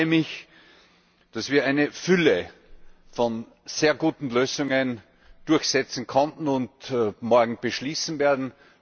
Ich freue mich, dass wir eine Fülle von sehr guten Lösungen durchsetzen konnten und morgen beschließen werden.